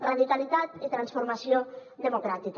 radicalitat i transformació democràtica